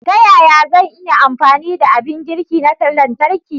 Ta yaya zan iya amfani da abin girki na lantarki?